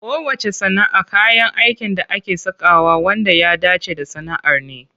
Kowacce sana'a kayan aikin da ake sakawa wanda ya dace da sana'ar ne.